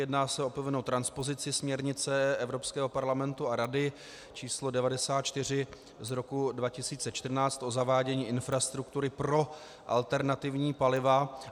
Jedná se o povinnou transpozici směrnice Evropského parlamentu a Rady č. 94 z roku 2014 o zavádění infrastruktury pro alternativní paliva.